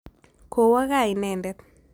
Kowo kaa inendet.